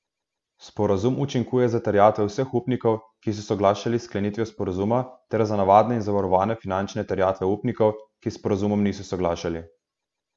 Sporazum učinkuje za terjatve vseh upnikov, ki so soglašali s sklenitvijo sporazuma ter za navadne in zavarovane finančne terjatve upnikov, ki s sporazumom niso soglašali.